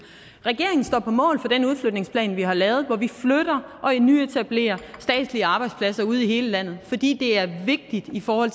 regeringen står på mål for den udflytningsplan vi har lavet hvor vi flytter og nyetablerer statslige arbejdspladser ude i hele landet fordi det er vigtigt for